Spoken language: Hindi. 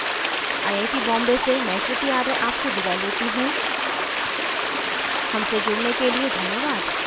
आई ऐ टी बॉम्बे से मैं श्रुति आर्य आपसे विदा लेती you हमसे जुड़ने के लिए धन्यवाद